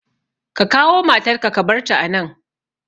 Ka kawo matar ka ka barta a nan!